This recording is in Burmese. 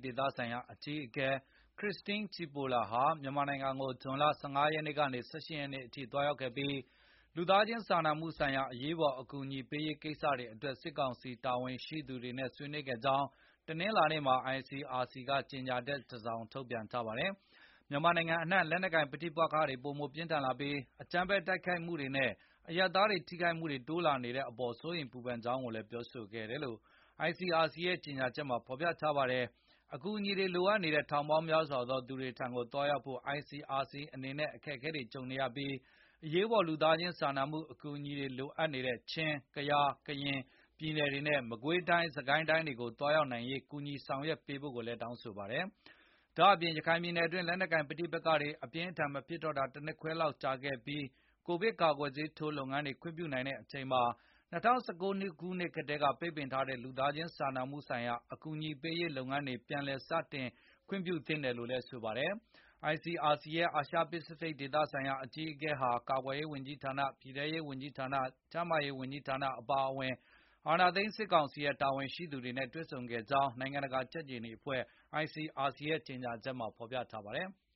ဒေသဆိုင်ရာအကြီးအကဲ Christine Cipolla ဟာမြန်မာနိုင်ငံကို ဇွန်လ ၁၅ ရက်နေ့ကနေ ၁၈ ရက်နေ့ အထိသွားရောက်ခဲ့ပြီးလူသားခြင်းစာနာမှုဆိုင်ရာအရေးပေါ်အကူအညီပေးရေးကိစ္စတွေအတွက်စစ်ကောင်စီတာဝန်ရှိသူတွေနဲ့ဆွေးနွေးခဲ့ကြာင်း တနင်္လာ နေ့မှာ ICRC ကကြေငြာချက်တစောင်ထုတ်ပြန်လိုက်ပါတယ်။ မြန်မာနိုင်ငံအနှံလက်နှက်ကိုင်ပဋိပက္ခတွေပိုမိုပြင်းထန်လာပြီး၊ အကြမ်းဖက် တိုက်ခိုက်မှုတွေနဲ့ အရပ်သားတွေထိခိုက်မှုတွေတိုးလာနေတဲ့အပေါ်စိုးရိမ် ပူပန်ကြောင်းကိုလည်းပြောဆိုခဲ့တယ်လို့ ICRC ရဲ့ကြေငြာချက်မှာဖေါ်ပြ ထားပါတယ်။ အကူအညီတွေလိုအပ်နေတဲ့ ထောင်ပေါင်းများစွာသော သူတွေထံကိုသွား ရောက်နိုင်ဖို့ICRC အနေနဲ့အခက်အခဲတွေကြုံနေရပြီး၊ အရေးပေါ်လူသား ခြင်းစာနာမှုအကူအညီတွေလိုအပ်နေတဲ့ ချင်း၊ ကယား၊ ကရင် ပြည်နယ် တွေနဲ့ မကွေတိုင်း၊ စစ်ကိုင်းတိုင်းတွေကို သွားရောက်နိုင်ရေးကူညီဆောင် ရွက်ပေးဖို့ကိုလည်း တောင်းဆိုခဲ့ပါတယ်။ ရခိုင်ြ့ပည်နယ်အတွင်းလက်နှက်ကိုပဋိပက မဖြစ် တော့တာ၁နှစ်ခွဲကျော်ကြာခဲ့ပြီးကိုဗစ်ကာကွယ်ဆေးထိုးလုပ်ငန်းတွေခွင့်ပြုနိုင်တဲ့အချိန်မှာ၂၀၁၉ ခုနှစ်ကတည်းကပိတ်ပင်ထားတဲ့ လူသားခြင်းစာနာမှု အကူအညီပေးရေးလုပ်ငန်းတွေပြန်လည် စတင်ခွင့်ပြုသင့်တယ်လို့လည်းဆို ပါတယ်။ ICRC ရဲ့ အာရှပစ္စဖိတ် ဒေသဆိုင် ရာအကြီးအကဲဟာ ကာကွယ် ရေးဝန်ကြီး ဌာန၊ ပြည်ထဲရေး ဝန်ကြီးဌာန၊ ကျန်းမာရေးဝန်ကြီးဌာန အပါအဝင် အာဏာသိမ်းစစ်ကောင်စီရဲ့ တာဝန်ရှိသူ တွေနဲ့တွေ့ဆုံဆွေးနွေးခဲ့ကြောင်း နိုင်ငံတကာကြက်ခြေနီအဖွဲ့ ICRC ရဲ့ကြေငြာချက်မှာဖေါ်ပြထားပါတယ်။